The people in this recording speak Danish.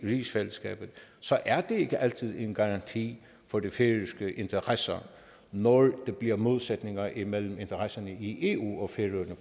rigsfællesskabet så er det ikke altid en garanti for de færøske interesser når der bliver modsætninger imellem interesserne i eu og færøerne